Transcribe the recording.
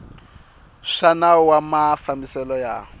swa nawu wa mafambiselo ya